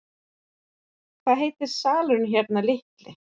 Hvað heitir salurinn hérna litli.